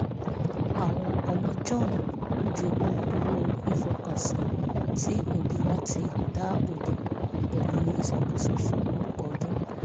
àwọn ọmọ john jogún owó ìfọkànsìn tí òbí wọn ti dáàbò bo pẹ̀lú ìṣàkóso fún ọ̀pọ̀ ọdún